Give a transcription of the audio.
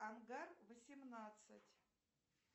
ангар восемнадцать